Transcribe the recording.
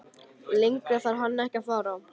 Lengra þarf hann ekki að fara.